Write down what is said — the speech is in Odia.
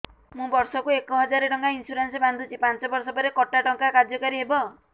ମୁ ବର୍ଷ କୁ ଏକ ହଜାରେ ଟଙ୍କା ଇନ୍ସୁରେନ୍ସ ବାନ୍ଧୁଛି ପାଞ୍ଚ ବର୍ଷ ପରେ କଟା ଟଙ୍କା କାର୍ଯ୍ୟ କାରି ହେବ